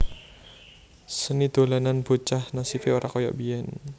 Seni dolanan bocah nasibe ora kaya biyen